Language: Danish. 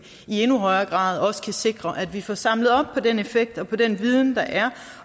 i endnu højere grad også kan sikre at vi får samlet op på den effekt og på den viden der er